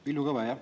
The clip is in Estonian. Villu Kõve, jah.